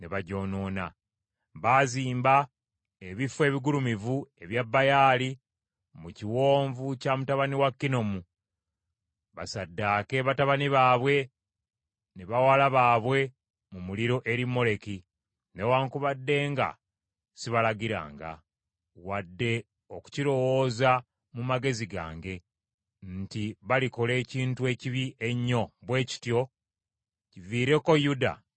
Baazimba ebifo ebigulumivu ebya Baali mu kiwonvu kya mutabani wa Kinomu, basaddaake batabani baabwe ne bawala baabwe mu muliro eri Moleki, newaakubadde nga sibalagiranga, wadde okukirowooza mu magezi gange, nti balikola ekintu ekibi ennyo bwe kityo kiviireko Yuda okwonoona.